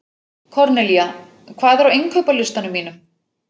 Kornelía, hvað er á innkaupalistanum mínum?